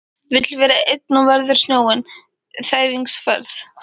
Vill vera einn og veður snjóinn, þæfingsfærð